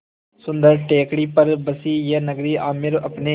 सुन्दर टेकड़ी पर बसी यह नगरी आमेर अपने